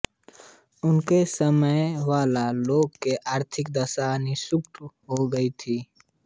उनके समय मावला लोगों की आर्थिक दशा निकृष्ट हो गई थी